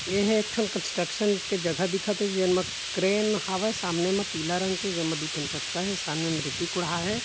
ए हर एक ठन कंस्ट्रक्शन के जगह दिखत हे जेन म क्रेन हवय सामने मा पीला रंग के जे मा दू ठन चक्का हे सामने म रेती कुढ़ाये हे।